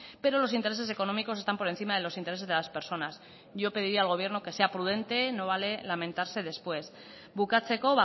pero los intereses económicos están por encima de los intereses de las personas yo pediría al gobierno que sea prudente no vale lamentarse después bukatzeko